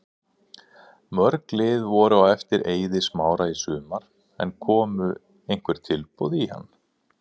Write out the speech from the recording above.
Mörg lið voru á eftir Eiði Smára í sumar en komu einhver tilboð í hann?